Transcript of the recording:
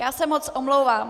Já se moc omlouvám.